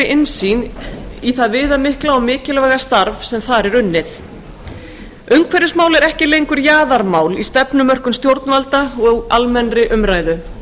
innsýn í það viðamikla og mikilvæga starf sem þar er unnið umhverfismál eru ekki lengur jaðarmál í stefnumörkun stjórnvalda og almennri umræðu